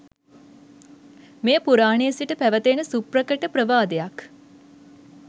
මෙය පුරාණයේ සිට පැවැත එන සුප්‍රකට ප්‍රවාදයක්.